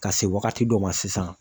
Ka se wagati dɔ ma sisan